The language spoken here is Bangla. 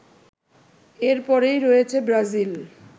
এর পরেই রয়েছে ব্রাজিল